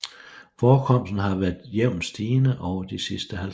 Forekomsten har været jævnt stigende over de sidste 50 år